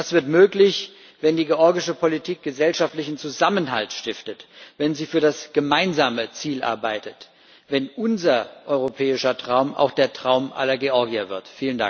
Das wird möglich, wenn die georgische Politik gesellschaftlichen Zusammenhalt stiftet, wenn sie für das gemeinsame Ziel arbeitet, wenn unser europäischer Traum auch der Traum aller Georgier wird!